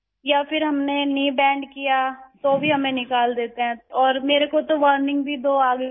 یا پھر ہم نے گھٹنا موڑ لیا تو بھی ہمیں نکال دیتے ہیں اور میرے لئے تو وارننگ بھی دو آ گئی تھیں